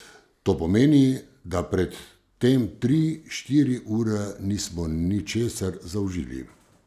To pomeni, da pred tem tri, štiri ure nismo ničesar zaužili.